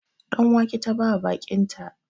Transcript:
Ɗan wake ta bawa baƙinta